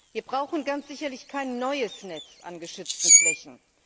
Wir brauchen ganz sicherlich kein neues Netz an geschützten Flächen.